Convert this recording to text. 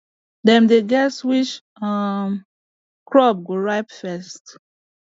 dem dey guess which um crop go ripe first